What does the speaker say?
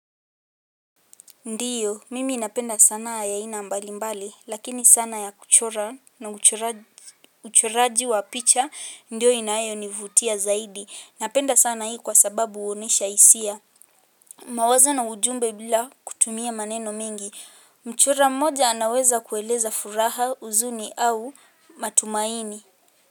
Ndiyo, mimi napenda sanaa ya aina mbalimbali, lakini sana ya kuchora, na uchoraji uchoraji wa picha, ndiyo inayonivutia zaidi. Napenda sana hii kwa sababu huonesha hisia. Mawazo na ujumbe bila kutumia maneno mengi. Mchora mmoja anaweza kueleza furaha, huzuni au matumaini.